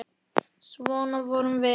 Svona vorum við.